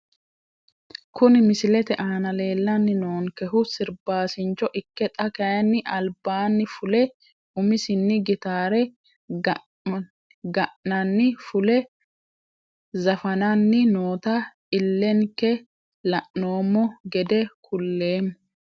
Kuni misilete aana leelani noonkehu sirbaasincho ikke xa kayiini albaani fule umisini gitaare ga`mani fule zafanani noota ilenkeni la`noomo gede kuleeemo.